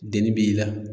Deni b'i la